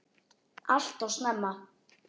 Alltof snemma.